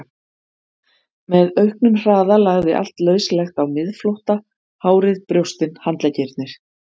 Með auknum hraða lagði allt lauslegt á miðflótta, hárið, brjóstin, handleggirnir.